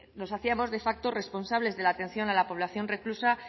nos hacíamos de facto responsables de la atención a la población reclusa